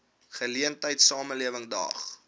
geleentheid samelewing daag